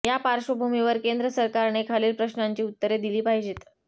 या पार्श्वभूमीवर केंद्र सरकारने खालील प्रश्नांची उत्तरे दिली पाहिजेत